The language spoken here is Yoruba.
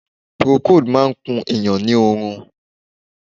Procold máà ń kun èèyàn ni oorun.